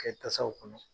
Kɛ tasaw kɔnɔ